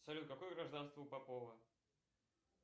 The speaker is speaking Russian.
салют какое гражданство у попова